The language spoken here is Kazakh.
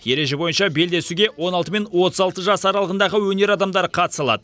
ереже бойынша белдесуге он алты мен отыз алты жас аралығындағы өнер адамдары қатыса алады